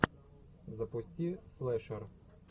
запусти слэшер